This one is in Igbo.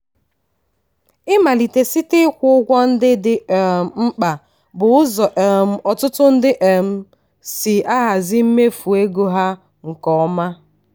ịmalite site ịkwụ ụgwọ ndị dị um mkpa bụ ụzọ um ọtụtụ ndị um si ahazi mmefu ego ha nke ọma.